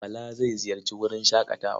Bala zai ziyarci wurin shaƙatawa.